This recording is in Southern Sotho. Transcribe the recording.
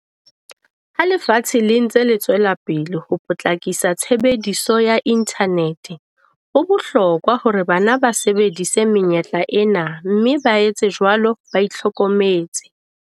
Ha lefatshe le ntse le tswela pele ho potlakisa tshebediso ya inthanete, ho bohlokwa hore bana ba sebedise menyetla ena mme ba etse jwalo ba ihlokometse.